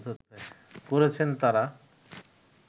করেছেন তারা